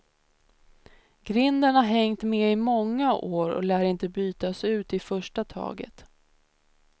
Grinden har hängt med i många år och lär inte bytas ut i första taget.